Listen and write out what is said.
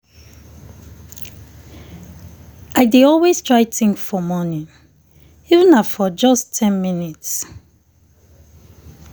i dey always try think for morning even na for just ten minutes.